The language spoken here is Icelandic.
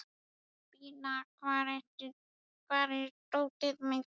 Bína, hvar er dótið mitt?